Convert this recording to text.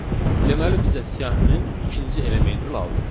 Deməli, bizə siyahının ikinci elementi lazımdır.